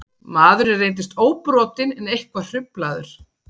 Maðurinn reyndist óbrotinn en eitthvað hruflaður